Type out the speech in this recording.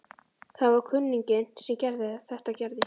Það var kunninginn sem þetta gerði.